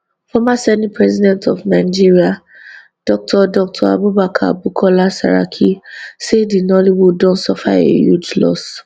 former senate president of nigeria dr dr abubakar bukola saraki say di nollywood don suffer a huge loss